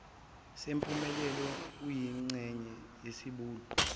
sempumelelo kuyingxenye yesiqubulo